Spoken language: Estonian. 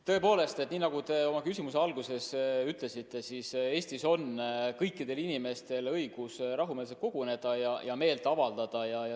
Tõepoolest, nii nagu te oma küsimuse alguses ütlesite, Eestis on kõikidel inimestel õigus rahumeelselt koguneda ja meelt avaldada.